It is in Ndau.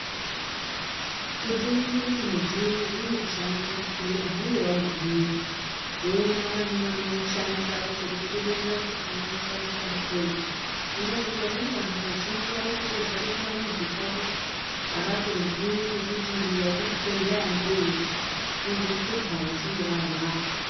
Kuti uone kuti mudziyo unoshandiswa kuzvibhedhlera hunge wagumeyo voonana nevanoushandisa vacho vokuromzera unoushandisa sei ngenyaya yekuti vamweni vantu vazhinji vanogara kumamizi kwawo avatozivi nekuti njira yeuchibhedhlera ndeiri vozohlupa kana vachinge varwara.